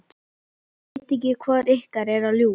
Ég veit ekki hvor ykkar er að ljúga.